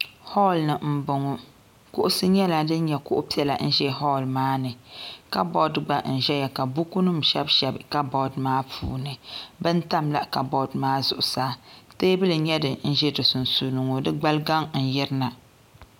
hool ni n bɔŋɔ kuɣusi nyɛla din nyɛ kuɣu piɛla n ʒɛ hool maa ni kabood gba n ʒɛya ka buku nim shɛbi shɛbi kabood maa puuni bin tamla kabood maa zuɣusaa teebuli n nyɛ din ʒɛ di sunsuuni ŋɔ di gbali gaŋ n yirina